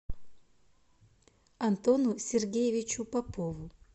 антону сергеевичу попову